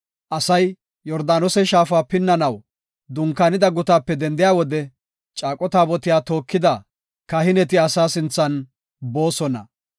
Asay Yordaanose shaafa pinnanaw dunkaanida gutaape dendiya wode, caaqo taabotiya tookida kahineti asaa sinthan boosona.